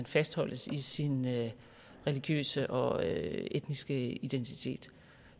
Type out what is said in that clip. fastholdt i sin religiøse og etniske identitet